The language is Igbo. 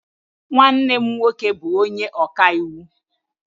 Nwanne m nwoke bu onye okaiwu.